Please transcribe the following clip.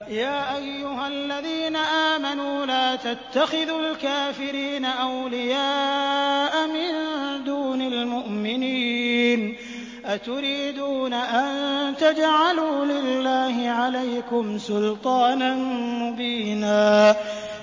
يَا أَيُّهَا الَّذِينَ آمَنُوا لَا تَتَّخِذُوا الْكَافِرِينَ أَوْلِيَاءَ مِن دُونِ الْمُؤْمِنِينَ ۚ أَتُرِيدُونَ أَن تَجْعَلُوا لِلَّهِ عَلَيْكُمْ سُلْطَانًا مُّبِينًا